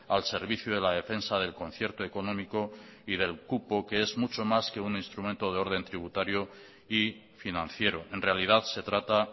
al servicio de la defensa del concierto económico y del cupo que es mucho más que un instrumento de orden tributario y financiero en realidad se trata